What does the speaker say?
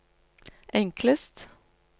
enklest